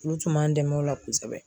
Olu tun b'an dɛmɛ o la kosɛbɛ.